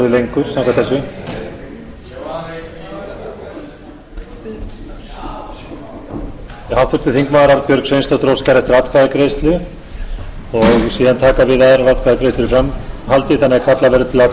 lengur samkvæmt þessu háttvirtir þingmenn arnbjörg sveinsdóttir óskar eftir atkvæðagreiðslu og síðan taka við aðrar atkvæðagreiðslur í framhaldi þannig að kallað verður til atkvæðagreiðslu þar til dagskrá er lokið